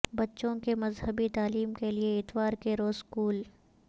بچوں کے مذہبی تعلیم کے لئے اتوار کے روز اسکول